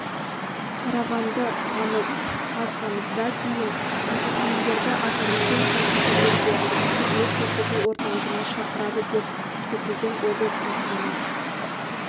қарағанды тамыз қаз тамызда дейін бизнесмендерді атамекен кәсіпкерлерге қызмет көрсету орталығына шақырады деп көрсетілген облыс әкімінің